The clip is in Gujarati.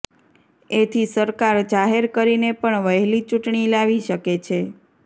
એથી સરકાર જાહેર કરીને પણ વહેલી ચૂંટણી લાવી શકે છે